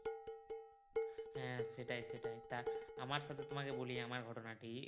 হ্যাঁ সেটাই সেটাই তা আমার সাথে তোমাকে বলি আমার ঘটনাটি